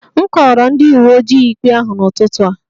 M kọọrọ ndị uwe ojii ikpe ahụ n'ụtụtụ a